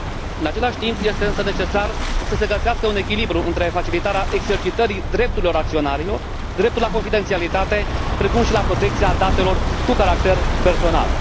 În același timp este, însă, necesar să se găsească un echilibru între facilitarea exercitării drepturilor acționarilor, dreptul la confidențialitate precum și dreptul la protecția datelor cu caracter personal.